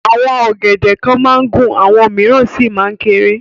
Àwọn ọ̀gẹ̀dẹ̀ kan máa ń gùn àwọn mìíràn sì máa ń kéré.